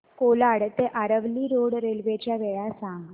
कोलाड ते Aravali road railway च्या वेळा सांग